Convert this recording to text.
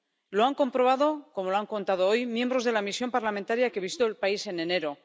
Lo han comprobado ―como lo han contado hoy― los miembros de la misión parlamentaria que visitó el país en enero.